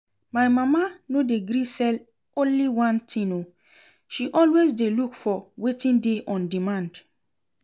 My mama no dey gree sell only one thing oo, she always dey look for wetin dey on demand